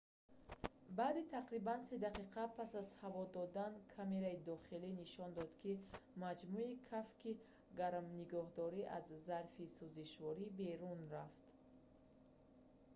баъди тақрибан 3 дақиқа пас аз ҳаво додан камераи дохилӣ нишон дод ки маҷмӯи кафки гарминигоҳдор аз зарфи сузишворӣ берун рафт